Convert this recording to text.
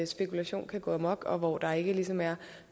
spekulation kan gå amok og hvor der ikke ligesom er